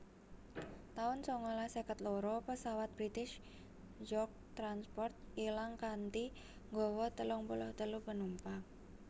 taun sangalas seket loro Pesawat British York transport ilang kanthi nggawa telung puluh telu penumpang